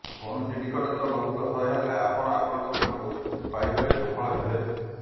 କୌଣସି ନିକଟତର ବନ୍ଧୁଙ୍କ ସହାୟତାରେ ଆପଣ ଆପଣଙ୍କ ପ୍ରେମକୁ ପାଇବାରେ ସଫଳ ହେବେ